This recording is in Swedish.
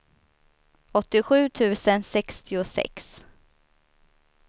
åttiosju tusen sextiosex